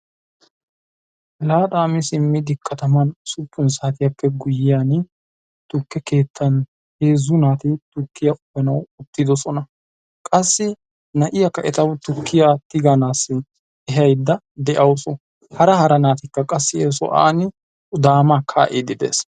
laaxaa mi simmidi katan ussuppun saatiyaan biidi heezu naati tukkiya uyiidi uttidosona. qassi na'iya tukkiya tiganawu ehaydda de'awusu, hara hara naatikka qassi he sohuwani daamaa kaa'idi de'oosona.